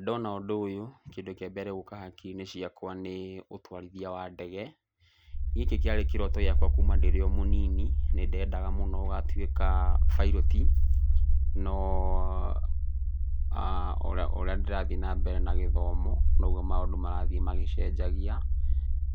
Ndona ũndũ ũyũ kĩndũ kĩa mbere gũka hakiri-inĩ ciakwa nĩ ũtwarithia wa ndege. Gĩkĩ kĩarĩ kĩroto gĩakwa kuuma ndĩrĩo mũnini. Nĩ ndendaga mũno gũgatuĩka bairoti, no o ũrĩa ndĩrathiĩ na mbere na gĩthomo noguo maũndũ marathiĩ magĩcenjagia.